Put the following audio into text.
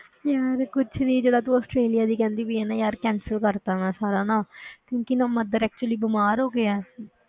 ਯਾਰ ਕੁਛ ਨੀ ਜਿਹੜਾ ਤੂੰ ਆਸਟ੍ਰੇਲੀਆ ਦੀ ਕਹਿੰਦੀ ਪਈ ਆਂ ਨਾ ਯਾਰ cancel ਕਰ ਦਿੱਤਾ ਮੈਂ ਸਾਰਾ ਨਾ ਕਿਉਂਕਿ ਨਾ mother actually ਬਿਮਾਰ ਹੋ ਗਏ ਹੈ